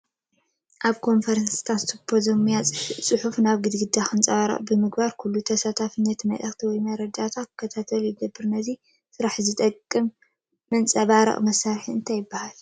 ኣብ ኮንፈረንስታትን ስዩፖዜምያትን ፅሑፍ ናብ ግዳግዳ ከንፀባርቕ ብምግባር ኩሉ ተሳቲፊ ነቲ መልእክቲ ወይ መረዳእታ ክከታተሎ ይግበር፡፡ ነዚ ስራሕ ዝጠቅም መንፀባረቒ መሳርሒ እንታይ ይበሃል?